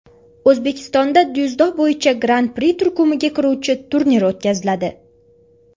O‘zbekistonda dzyudo bo‘yicha Gran-Pri turkumiga kiruvchi turnir o‘tkaziladi.